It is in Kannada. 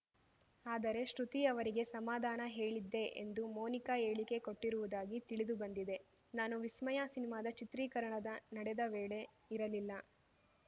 ಆದರೆ ಶ್ರುತಿ ಅವರಿಗೆ ಸಮಾಧಾನ ಹೇಳಿದ್ದೆ ಎಂದು ಮೋನಿಕಾ ಹೇಳಿಕೆ ಕೊಟ್ಟಿರುವುದಾಗಿ ತಿಳಿದು ಬಂದಿದೆ ನಾನು ವಿಸ್ಮಯ ಸಿನಿಮಾದ ಚಿತ್ರೀಕರಣದ ನಡೆದ ವೇಳೆ ಇರಲಿಲ್ಲ